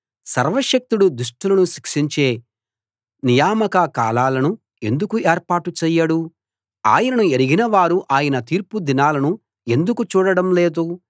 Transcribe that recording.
సర్వశక్తుడు దుష్టులను శిక్షించే నియామక కాలాలను ఎందుకు ఏర్పాటు చేయడు ఆయనను ఎరిగినవారు ఆయన తీర్పు దినాలను ఎందుకు చూడడం లేదు